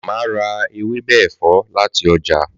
Màmá ra ewébè ẹ̀fọ́ láti ọjà